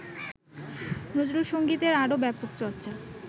নজরুলসঙ্গীতের আরো ব্যাপক চর্চ্চা